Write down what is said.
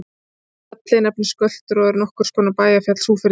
Fjallið nefnist Göltur og er nokkurs konar bæjarfjall Súgfirðinga.